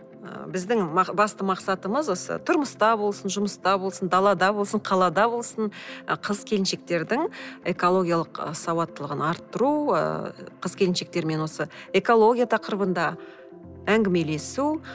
ы біздің басты мақсатымыз осы тұрмыста болсын жұмыста болсын далада болсын қалада болсын ы қыз келіншектердің экологиялық сауаттылығын арттыру ыыы қыз келіншектермен осы экология тақырыбында әңгімелесу